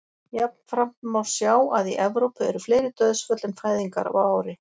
jafnframt má sjá að í evrópu eru fleiri dauðsföll en fæðingar á ári